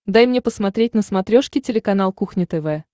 дай мне посмотреть на смотрешке телеканал кухня тв